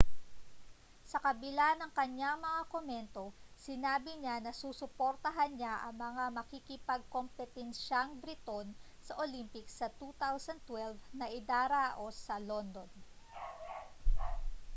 sa kabila ng kaniyang mga komento sinabi niya na susuportahan niya ang mga makikipagkompetensiyang briton sa olympics sa 2012 na idaraos sa london